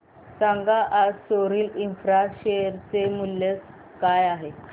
सांगा आज Soril infra share चे मूल्य काय आहे